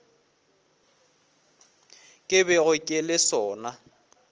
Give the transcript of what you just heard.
ke bego ke le sona